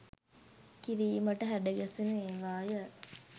කිරීමට හැඩගැසුණු ඒවාය